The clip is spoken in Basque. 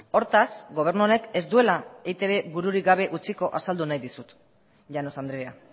hortaz gobernu honek ez duela eitb bururik gabe utziko azaldu nahi dizut llanos andrea